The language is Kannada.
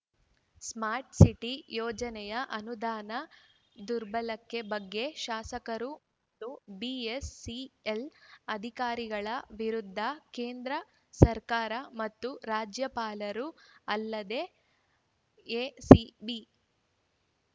ಸ್ಮಾರ್ಟ್ ಸಿಟಿ ಯೋಜನೆಯ ಅನುದಾನ ದುರ್ಬಳಕೆ ಬಗ್ಗೆ ಶಾಸಕರು ಮತ್ತು ಬಿಎಸ್‌ಸಿಎಲ್ ಅಧಿಕಾರಿಗಳ ವಿರುದ್ಧ ಕೇಂದ್ರ ಸರ್ಕಾರ ಮತ್ತು ರಾಜ್ಯಪಾಲರು ಅಲ್ಲದೇ ಎಸಿಬಿ